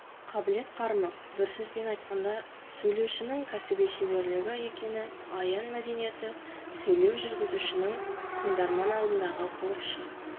қабілет-қарымы бір сөзбен айтқанда сөйлеушінің кәсіби шеберлігі екені аян мәдениетті сөйлеу жүргізушінің тыңдарман алдындағы борышы